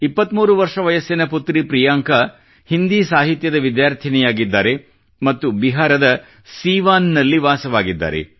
23 ವರ್ಷ ವಯಸ್ಸಿನ ಪುತ್ರಿ ಪ್ರಿಯಾಂಕ ಹಿಂದಿ ಸಾಹಿತ್ಯದ ವಿದ್ಯಾರ್ಥಿಯಾಗಿದ್ದಾರೆ ಮತ್ತು ಬಿಹಾರದ ಸೀವಾನ್ ನಲ್ಲಿ ವಾಸವಾಗಿದ್ದಾರೆ